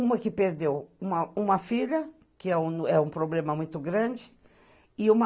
Uma que perdeu uma uma filha, que é um é um problema muito grande, e uma